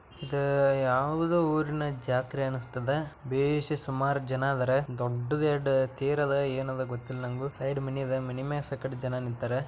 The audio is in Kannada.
ಇದ್ ಯಾವುದೋ ಊರಿನ ಜಾತ್ರೆ ಅನಿಸ್ತದ ಬೇಸಿ ಸುಮಾರು ಜನ ಅದರ ದೊಡ್ಡದು ಎರೆಡು ತೇರು ಆದ ಏನ್ ಆದ ಗೋತಯಿಲ್ಲ ನನಗೂ ಸೈಡ್ ಮನಿ ಅದಾ ಮನಿಮ್ಯಾಗ್ ಸಾಕಷ್ಟು ಜನ ನಿಂತಾರ .